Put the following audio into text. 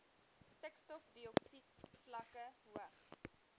stikstofdioksied vlakke hoog